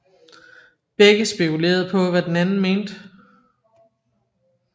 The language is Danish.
Begge spekulerede på hvad den anden mente